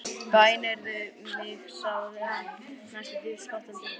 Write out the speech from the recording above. Bænheyrðu mig, sagði hann næstum því spottandi.